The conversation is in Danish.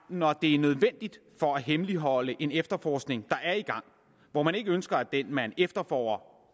når det er nødvendigt for at hemmeligholde en efterforskning der er i gang hvor man ikke ønsker at dem man efterforsker